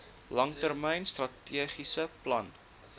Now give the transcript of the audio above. langtermyn strategiese plan